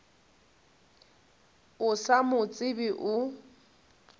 o sa mo tsebe o